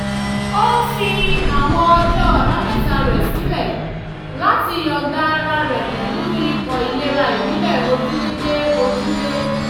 ó ń fi àwọn ọjọ́ àbámẹ́ta rẹ̀ sílẹ̀ láti yọ̀ǹda ara rẹ̀ pẹ̀lú ikọ̀ ìlera ìbílẹ̀ ojúlé dé ojúlé